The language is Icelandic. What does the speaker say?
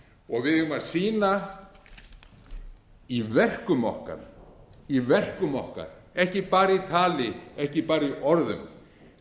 og við eigum að sýna í verkum okkar ekki bara í tali ekki bara í orðum við